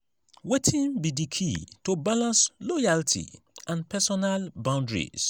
wetin be di key to balance loyalty and personal boundaries?